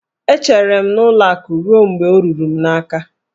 E chere m n'ụlọ akụ ruo mgbe ọ ruru m n'aka